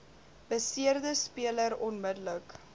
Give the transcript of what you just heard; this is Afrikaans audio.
beseerde speler onmiddellik